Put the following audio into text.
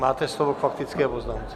Máte slovo k faktické poznámce.